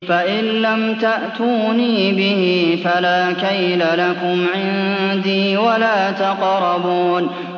فَإِن لَّمْ تَأْتُونِي بِهِ فَلَا كَيْلَ لَكُمْ عِندِي وَلَا تَقْرَبُونِ